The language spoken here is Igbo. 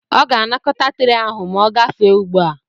Ọ ga-anakọta tre ahụ ma ogafe ugbu a.